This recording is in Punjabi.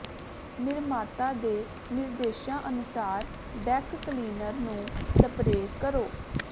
ਨਿਰਮਾਤਾ ਦੇ ਨਿਰਦੇਸ਼ਾਂ ਅਨੁਸਾਰ ਡੈੱਕ ਕਲੀਨਰ ਨੂੰ ਸਪਰੇਅ ਕਰੋ